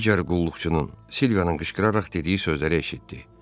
Digər qulluqçunun, Silvianın qışqıraraq dediyi sözləri eşitdi.